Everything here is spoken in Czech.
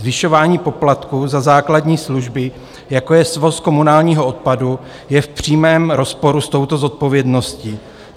Zvyšování poplatku za základní služby, jako je svoz komunálního odpadu, je v přímém rozporu s touto zodpovědností.